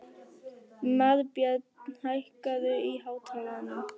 Marbjörn, hækkaðu í hátalaranum.